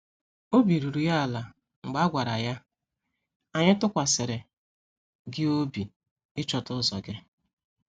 Obi ruru ya ala mgbe a gwara ya, "Anyị tụkwasịrị gị obi ịchọta ụzọ gị."